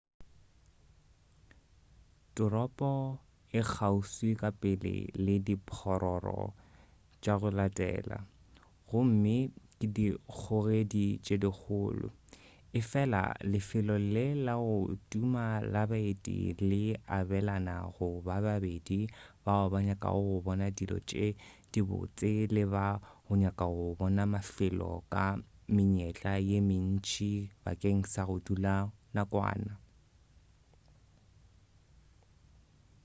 toropo e kgauswi ka pele le diphororo tša go latela gomme ke dikgogedi tše dikgolo efela lefelo le la go tuma la baeti le abelana go bobedi bao ba nyakago go bona dilo tše dibotse le ba go nyaka go bona mafelo ka menyetla ye mentši bakeng sa go dula nakwana